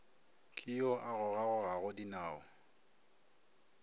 ke yo a gogagogago dinao